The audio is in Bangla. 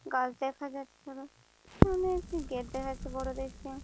গাছ দেখা যাচ্ছে এবং পিছনে গেট দেখা যাচ্ছে বড় দেখে।